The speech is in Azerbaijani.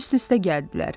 Üst-üstə gəldilər.